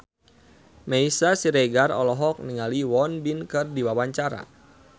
Meisya Siregar olohok ningali Won Bin keur diwawancara